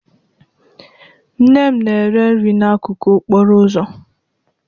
Nne m na-ere nri n'akụkụ okporo ụzọ